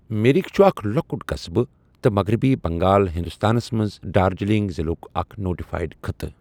مِرِك چھٗ اكھ لو٘كٗٹ قسبہٕ ، تہٕ مغربی بنگال ہِندوستانس منز دارجلِنگ ضِلعٗك اكھ نوٹِفایڈ خطہٕ ۔